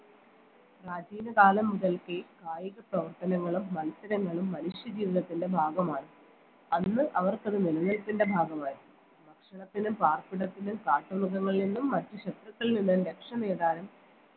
പ്രാചീന കാലം മുതൽക്കേ കായിക പ്രവർത്തനങ്ങളും മത്സരങ്ങളും മനുഷ്യ ജീവനത്തിൻറെ ഭാഗമാണ് അന്ന് അവർക്കത് നിലനിൽപ്പിന്റെ ഭാഗമായിരുന്നു ഭക്ഷണത്തിനും പാർപ്പിടത്തിനും കാട്ടു മൃഗങ്ങളിൽ നിന്നും മറ്റു ശത്രുക്കളിൽ നിന്നും രക്ഷ നേടാനും